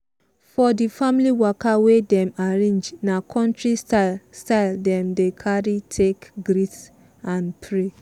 for di family waka wey dem arrange na countri style style dem carry take greet and pray.